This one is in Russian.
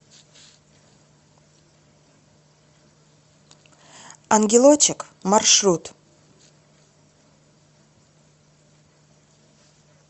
ангелочек маршрут